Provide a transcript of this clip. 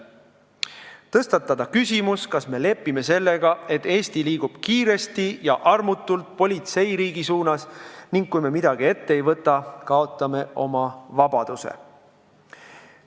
Soovime tõstatada küsimuse, kas me lepime sellega, et Eesti liigub kiiresti ja armutult politseiriigi suunas, ning kui me midagi ette ei võta, kaotame oma vabaduse.